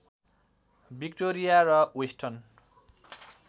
Victoria र western